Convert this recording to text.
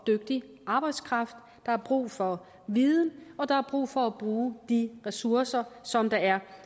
dygtig arbejdskraft der er brug for viden og der er brug for at bruge de ressourcer som der er